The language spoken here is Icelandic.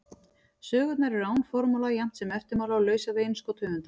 Sögurnar eru án formála jafnt sem eftirmála og lausar við innskot höfundar.